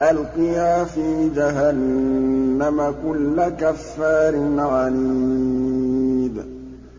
أَلْقِيَا فِي جَهَنَّمَ كُلَّ كَفَّارٍ عَنِيدٍ